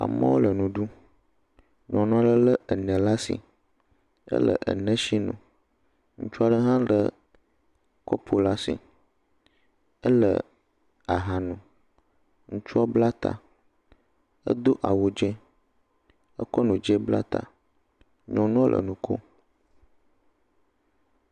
Amewo le nu ɖum. Nyɔnua le lé enɛ laa asi. Ele enɛshi num. Ŋutsu aɛɖe hã lé kɔpo la asi, ele aha num. Ŋutsua bla ta, edo awu dzẽ, ekɔ nu dzẽ bla ta. Nyɔnuɔ le nu koom.